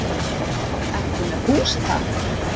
Ertu með hús þar?